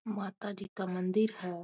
माता जी का मन्दिर है।